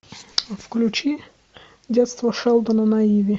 включи детство шелдона на иви